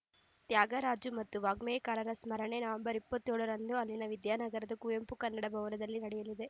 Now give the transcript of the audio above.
ತ್ಯಾಗರಾಜು ಮತ್ತು ವಾಗ್ಗೇಯಕಾರರ ಸ್ಮರಣೆ ನವೆಂಬರ್ ಇಪ್ಪತ್ತೇಳರಂದು ಇಲ್ಲಿನ ವಿದ್ಯಾನಗರದ ಕುವೆಂಪು ಕನ್ನಡ ಭವನದಲ್ಲಿ ನಡೆಯಲಿದೆ